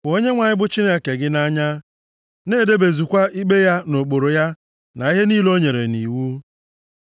Hụ Onyenwe anyị bụ Chineke gị nʼanya, na-edebezukwa ikpe ya na ụkpụrụ ya na ihe niile o nyere nʼiwu.